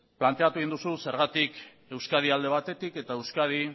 planteatu egin duzu zergatik euskadi alde batetik